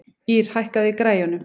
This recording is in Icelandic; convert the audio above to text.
Ýrr, hækkaðu í græjunum.